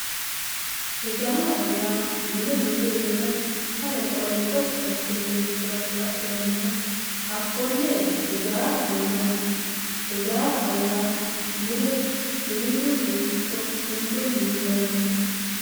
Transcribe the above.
ijaaraho yaa mine minu iima ale qolle gotti assine minanni ha'nanniha hakkonne ijaaraho yinanni ijaaraho yaa mine siviilunni ikko kinchunni minanniho